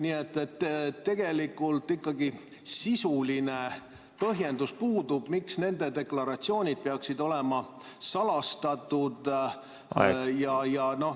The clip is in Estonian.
Nii et tegelikult ikkagi sisuline põhjendus puudub, miks nende deklaratsioonid peaksid olema salastatud.